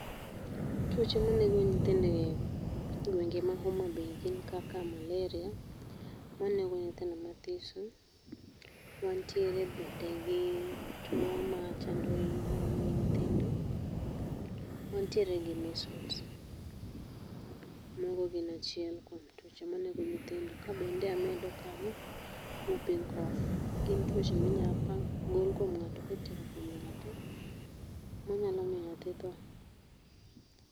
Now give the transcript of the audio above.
Twoche manego nyithindo e gwenge mag Homa Bay gin kaka maleria manego nyithindo mathiso, wantiere bende gii two machando iye mag nyithindo, wantiere gi measles mago gin achiel kwom tuoche manego nyithindo ka bende amedo kanyo whooping cough gin twoche minyalo pa gol kwom ngato manyalo miyo nyathi tho.